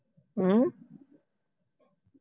ਹਮ